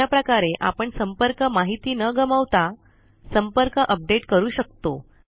अशाप्रकारे आपण संपर्क माहिती न गमावता संपर्क अपडेट करू शकतो